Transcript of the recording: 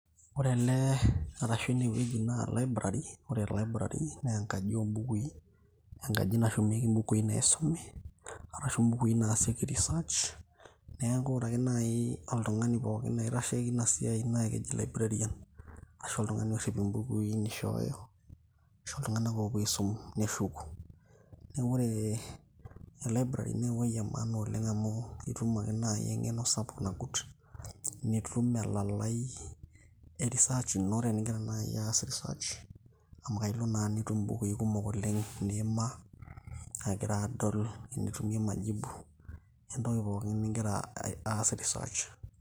ore ele arashu enewueji naa library ore library naa enkaji ombukui enkaji nashumieki imbukui naisumi arashu imbukui naasieki research neeku ore ake naaji oltung'ani pookin oitasheki ina siai naa keji librarian ashu oltung'ani orrip imbukui nishooyo aisho iltung'anak oopuo aisum neshuku neeku e library naa ewoi e maana oleng amu itum ake naaji eng'eno sapuk nagut nitum elalai e research ino teningira naaji aas research amu kailo naa nitum imbukui kumok oleng' niimaa agira adol enitumie majibu entoki pookin ningira aas research.